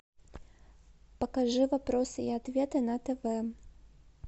покажи вопросы и ответы на тв